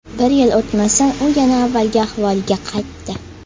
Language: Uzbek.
Bir yil o‘tmasdan u yana avvalgi ahvoliga qaytdi.